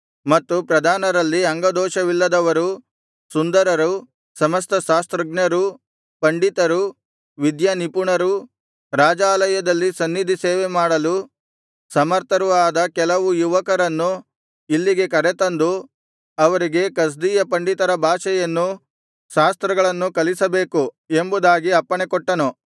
ಮತ್ತು ಪ್ರಧಾನರಲ್ಲಿ ಅಂಗದೋಷವಿಲ್ಲದವರೂ ಸುಂದರರೂ ಸಮಸ್ತ ಶಾಸ್ತ್ರಜ್ಞರೂ ಪಂಡಿತರೂ ವಿದ್ಯಾನಿಪುಣರೂ ರಾಜಾಲಯದಲ್ಲಿ ಸನ್ನಿಧಿ ಸೇವೆಮಾಡಲು ಸಮರ್ಥರೂ ಆದ ಕೆಲವು ಯುವಕರನ್ನು ಇಲ್ಲಿಗೆ ಕರೆದುತಂದು ಅವರಿಗೆ ಕಸ್ದೀಯ ಪಂಡಿತರ ಭಾಷೆಯನ್ನೂ ಶಾಸ್ತ್ರಗಳನ್ನೂ ಕಲಿಸಬೇಕು ಎಂಬುದಾಗಿ ಅಪ್ಪಣೆಕೊಟ್ಟನು